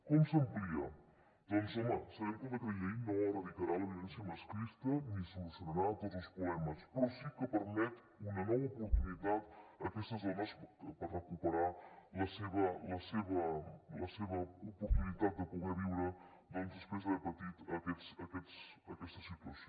com s’amplia doncs home sabem que el decret llei no erradicarà la violència masclista ni solucionarà tots els problemes però sí que permet una nova oportunitat a aquestes dones per recuperar la seva oportunitat de poder viure doncs després d’haver patit aquesta situació